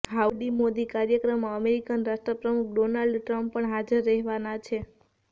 howdy Modi કાર્યક્રમમાં American રાષ્ટ્રપ્રમુખ Donald Trump પણ હાજર રહેવાના છે